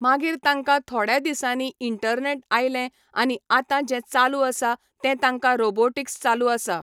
मागीर तांकां थोड्या दिसांनी इंटरनेट आयलें आनी आतां जें चालू आसा तें तांकां रोबोटिक्स चालू आसा.